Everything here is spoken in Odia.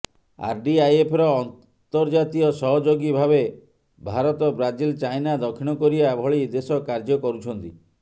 ଆରଡିଆଇଏଫର ଅନ୍ତର୍ଜାତୀୟ ସହଯୋଗୀ ଭାବେ ଭାରତ ବ୍ରାଜିଲ ଚାଇନା ଦକ୍ଷିଣ କୋରିଆ ଭଳି ଦେଶ କାର୍ଯ୍ୟ କରୁଛନ୍ତି